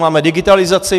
Máme digitalizaci.